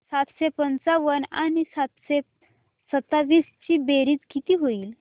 सातशे पंचावन्न आणि सातशे सत्तावीस ची बेरीज किती होईल